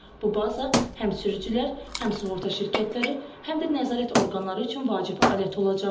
Bu baza həm sürücülər, həm sığorta şirkətləri, həm də nəzarət orqanları üçün vacib alət olacaq.